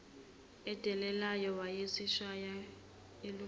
edelelayo wayeyishaya olungeqiwa